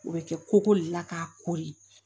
O bɛ kɛ koko le la k'a kori